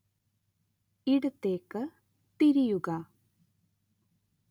ഇടത്തേക്ക് തിരിയുക